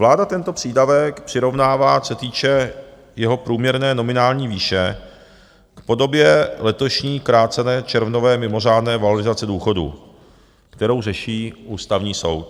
Vláda tento přídavek přirovnává, co se týče jeho průměrné nominální výše, k podobě letošní krácené červnové mimořádné valorizace důchodů, kterou řeší Ústavní soud.